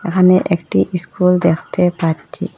এখানে একটি ইস্কুল দেখতে পাচ্ছি।